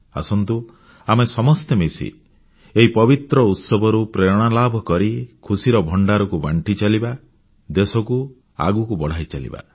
ଆସନ୍ତୁ ଆମେ ସମସ୍ତେ ମିଶି ଏହି ପବିତ୍ର ଉତ୍ସବରୁ ପ୍ରେରଣା ଲାଭକରି ଖୁସିର ଭଣ୍ଡାରକୁ ବାଣ୍ଟି ଚାଲିବା ଦେଶକୁ ଆଗକୁ ବଢ଼ାଇ ଚାଲିବା